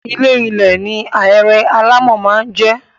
Ilé -ilẹ̀ ni ahéré alámọ̀ máa ń jẹ́.